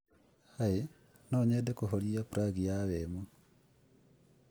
Hi, no nyende kuhoria plug ya wemo